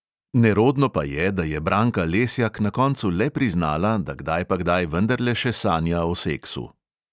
Nerodno pa je, da je branka lesjak na koncu le priznala, da kdaj pa kdaj vendarle še sanja o seksu.